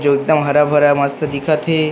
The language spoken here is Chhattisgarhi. जो एकदम हरा-भरा मस्त दिखत थे।